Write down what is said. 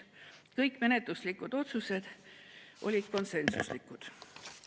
Kõik menetluslikud otsused olid konsensuslikud.